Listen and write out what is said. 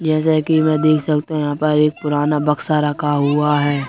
जैसे कि मैं देख सकता हूं यहन पर एक पुराना बक्सा रखा हुआ है।